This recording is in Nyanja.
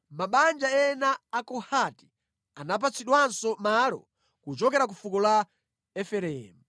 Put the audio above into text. Mabanja ena a Kohati anapatsidwanso malo kuchokera ku fuko la Efereimu.